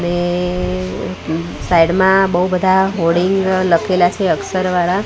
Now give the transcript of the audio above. ને સાઇડ મા બૌ બધા હોર્ડિંગ લખેલા છે અક્ષર વાળા.